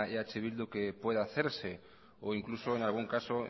eh bildu que pueda hacerse o incluso en algún caso